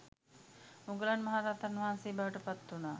මුගලන් මහරහතන් වහන්සේ බවට පත්වුනා.